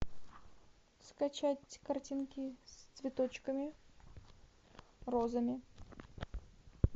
скачать картинки с цветочками розами